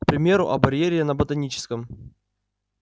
к примеру о барьере на ботаническом